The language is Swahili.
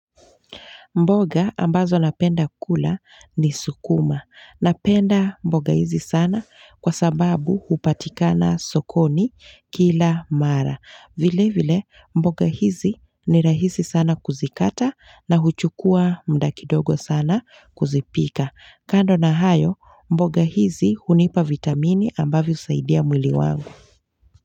Mboga ambazo napenda kula ni sukuma. Napenda mboga hizi sana kwa sababu hupatikana sokoni kila mara. Vile vile mboga hizi ni rahisi sana kuzikata na huchukua muda kidogo sana kuzipika. Kando na hayo mboga hizi hunipa vitamini ambavyo husaidia mwili wangu.